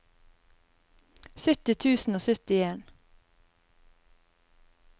sytti tusen og syttien